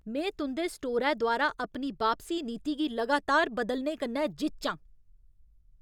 में तुं'दे स्टोरै द्वारा अपनी बापसी नीति गी लगातार बदलने कन्नै जिच्च आं।